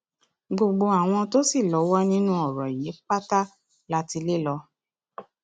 gbogbo àwọn tó sì lọwọ nínú ọrọ yìí pátá la ti lè lò